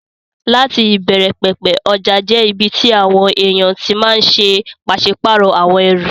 Láti ìbẹ̀rẹ̀ pẹ̀pẹ̀, ọjà jẹ́ ibi tí àwọn èèyàn ti máa n ṣe pàsípàrọ̀ àwọn ẹrù